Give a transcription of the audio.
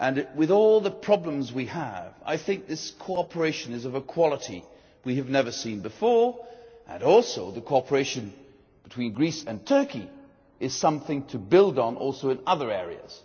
With all the problems that we face, I think this cooperation is of a quality we have never seen before, and also the cooperation between Greece and Turkey is something to build on also in other areas.